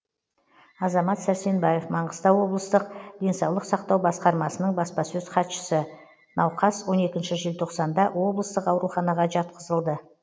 азамат сәрсенбаев маңғыстау облыстық денсаулық сақтау басқармасының баспасөз хатшысы науқас он екінші желтоқсанда облыстық ауруханаға жатқызылды